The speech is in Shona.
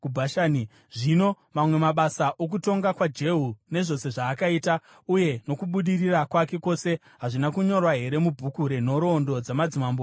Zvino mamwe mabasa okutonga kwaJehu, nezvose zvaakaita, uye nokubudirira kwake kwose, hazvina kunyorwa here mubhuku renhoroondo dzamadzimambo eIsraeri?